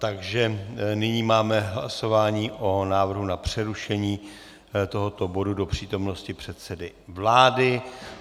Takže nyní máme hlasování o návrhu na přerušení tohoto bodu do přítomnosti předsedy vlády.